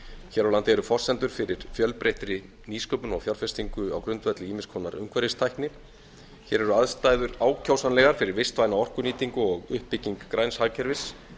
hér á landi eru forsendur fyrir fjölbreyttri nýsköpun og fjárfestingu á grundvelli ýmiss konar umhverfistækni hér eru aðstæður ákjósanlegar fyrir vistvæna orkunýtingu og uppbygging græns hagkerfis